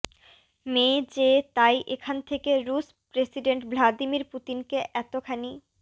মে যে তাই এখান থেকে রুশ প্রেসিডেন্ট ভ্লাদিমির পুতিনকে এতখানি